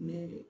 Ne